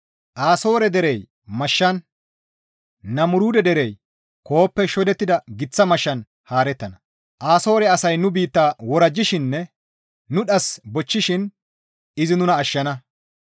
Asoore derey mashshan Namuruude derey koohoppe shodettida giththa mashshan haarettana; Asoore asay nu biitta worajjishininne nu dhas bochchishin izi nuna ashshana.